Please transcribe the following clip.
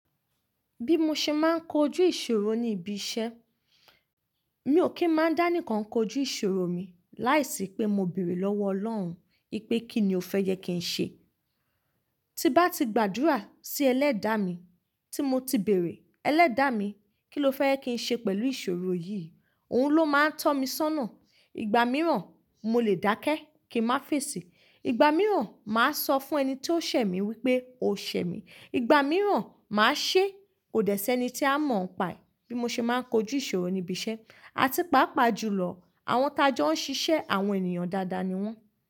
Bí mo ṣe máa ń kojú ìṣòro ní ibi iṣẹ́, mi ò kí ń máa dá nìkan kojú ìṣòro mi láìsí pé mo béèrè lọ́wọ́ Ọlọ́run pé kí ni ó fẹ́ gẹ kí n ṣe. Tí bá ti gbàdúrà sí ẹlẹ́dàá mi tí mo ti béèrè ẹlẹ́dàá mi kí ló fẹ́ ẹ kí n ṣe pẹ̀lú ìṣòro yìí, òun ló máa ń tọ́ mi sónà. Ìgbà mìíràn, mo lè dákẹ́ kí ń má fèsì. Ìgbà mìíràn, màá sọ fún ẹni tí ó ṣẹ̀ mí wípé o ṣẹ̀ mí. Ìgbà mìíràn, màá ṣé kò dẹ́ṣẹ́ ẹni tí a mọ̀ ọ́n paì. Bí mo ṣe máa ń kojú ìṣòro ní ibi iṣẹ́, àti pàápàá jùlọ àwọn tajọ́ ń ṣiṣẹ́ àwọn ènìyàn dáadáa ni wọ́n.